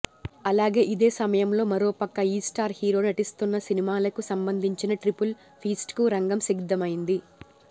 అలాగే ఇదే సమయంలో మరోపక్క ఈ స్టార్ హీరో నటిస్తున్న సినిమాలకు సంబంధించిన ట్రిపుల్ ఫీస్ట్కు రంగం సిద్ధమైంది